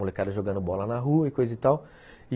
Molecada jogando bola na rua e coisa e tal.